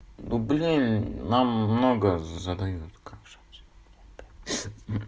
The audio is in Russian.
ну блин нам много задают как же